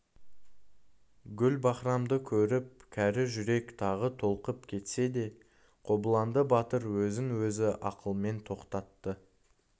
гүлбаһрамды көріп кәрі жүрек тағы толқып кетсе де қобыланды батыр өзін-өзі ақылмен тоқтатты